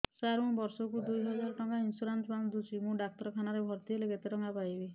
ସାର ମୁ ବର୍ଷ କୁ ଦୁଇ ହଜାର ଟଙ୍କା ଇନ୍ସୁରେନ୍ସ ବାନ୍ଧୁଛି ମୁ ଡାକ୍ତରଖାନା ରେ ଭର୍ତ୍ତିହେଲେ କେତେଟଙ୍କା ପାଇବି